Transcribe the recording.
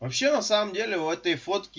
вообще на самом деле в этой фотки